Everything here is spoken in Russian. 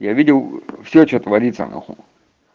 я видел всё что творится нахуй